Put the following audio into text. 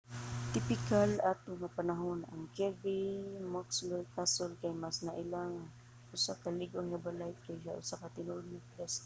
tipikal ato nga panahon ang kirby muxloe castle kay mas naila nga usa lig-on nga balay kaysa usa ka tinuod nga kastilyo